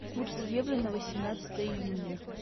курс евро на восемнадцатое июня